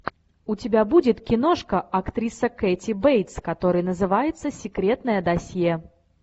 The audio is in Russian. у тебя будет киношка актриса кэти бейтс которая называется секретное досье